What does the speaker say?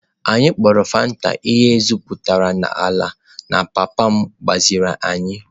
Anyị kpọrọ Fanta ihe egwuputara n'ala na papa m gbaziri anyị.